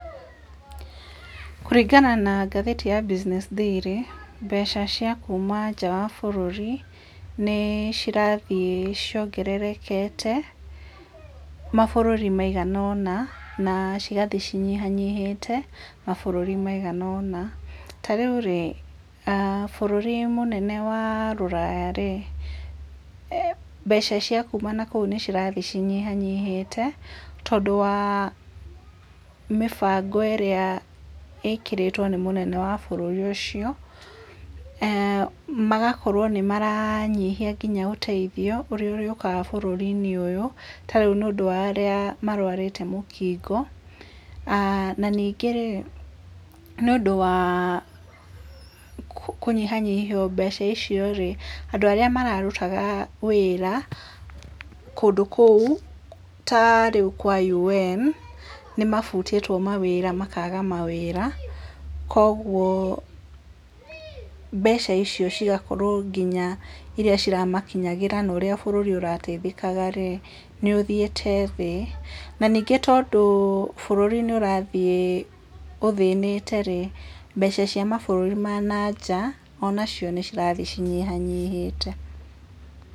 Kũringana na ngathĩti ya business daily mbeca cia kuma nja wa bũrũri nĩ cirathiĩ ciongerekete mabũrũri maiganona, na cigathiĩ inyihĩte mabũrũri maiganona, ta rĩu rĩ bũrũri mũnene wa rũraya rĩ mbeca cia kuma na kũu nĩ cirathiĩ cinyihanyihĩte tondũ wa mĩbango ĩrĩa ĩkĩrĩtwo nĩ mũnene wa bũrũri ũcio, magakorwo nĩ maranyihia nginya ũteithio ũrĩa ũrĩaũkaga bũrũri-inĩ ũyũ ta rĩu nĩ ũndũ wa arĩa mararwĩte mũkingo ah na ningĩ rĩ , nĩ ũndũ wa kũnyihanyihio mbeca icio rĩ andũ arĩa mararutaga wĩra kũndũ kũu ta rĩu kwa UN, nĩ mabutĩtwo mawĩra makaga mawĩra kwoguo mbeca iria ciramakinyagĩra na ũrĩa bũrũri ũrateithĩkaga rĩ nĩ ũthiĩte thĩ na ningĩ tondũ bũrũri nĩ ũrathiĩ ũthĩnĩte rĩ, mbeca cia mabururi ma nanja ona cio nĩ irathiĩ cinyihanyihĩte.